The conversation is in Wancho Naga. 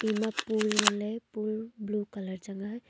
ema pool ngan le pool blue colour chang a.